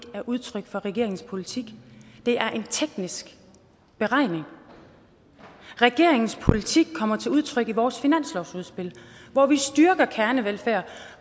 er udtryk for regeringens politik det er en teknisk beregning regeringens politik kommer til udtryk i vores finanslovsudspil hvor vi styrker kernevelfærden